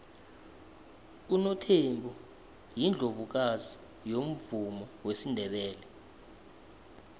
unothembi yiundlovukazi yomvumo wesindebele